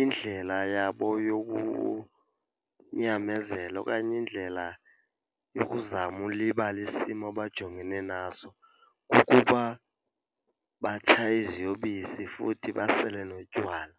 indlela yabo yokunyamezela okanye indlela yokuzama ulibala isimo abajongene naso kukuba batshaye iziyobisi futhi basele notywala.